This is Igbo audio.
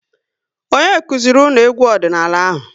Onye kụziri unu egwu ọdịnala ahụ?